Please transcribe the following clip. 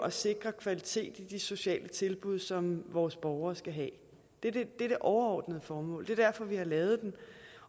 at sikre kvalitet i de sociale tilbud som vores borgere skal have det er det overordnede formål det er derfor vi har lavet den